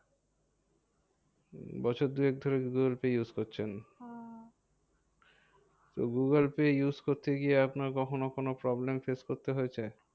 বছর দুয়েক ধরে গুগুলপে use করছেন? তো গুগুলপে use করতে গিয়ে আপনার কখনো কোনো problem face করতে হয়েছে?